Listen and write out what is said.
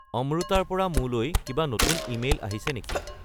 অম্ৰুটাৰ পৰা মোলৈ কিবা নতুন ইমেইল আহিছে নেকি